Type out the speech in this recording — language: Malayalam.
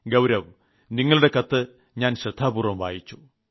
ഗൌരവ് നിങ്ങളുടെ കത്ത് ഞാൻ ശ്രദ്ധാപൂർവ്വം വായിച്ചു